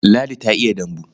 Ladi ta iya dambu.